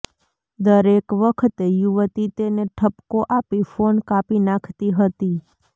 દરેક વખતે યુવતી તેને ઠપકો આપી ફોન કાપી નાખતી હતી